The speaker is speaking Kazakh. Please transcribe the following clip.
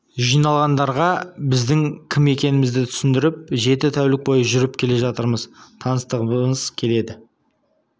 жиналғандарға біздің кім екенімізді түсіндіріп жеті тәулік бойы жүріп келе жатырмыз тыныстағымыз келеді